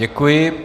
Děkuji.